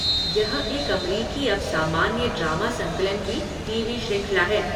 यह एक अमरीकी अपसामान्य ड्रामा संकलन की टीवी श्रृंखला है।